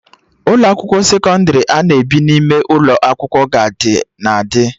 Ụlọ akwụkwọ sekọndrị ana ebi n'ime ụlọ akwụkwọ ga na-adị